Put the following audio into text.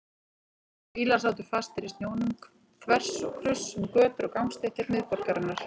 Bílar sátu fastir í snjónum þvers og kruss um götur og gangstéttir miðborgarinnar.